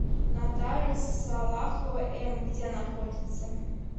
нотариус салахова эм где находится